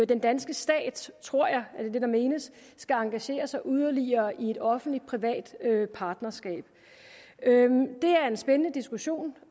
den danske stat tror jeg er det der menes skal engagere sig yderligere i et offentlig privat partnerskab det er en spændende diskussion